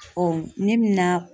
ne be na